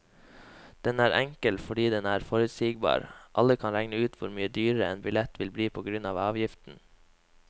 Den er enkel fordi den er forutsigbar, alle kan regne ut hvor mye dyrere en billett vil bli på grunn av avgiften.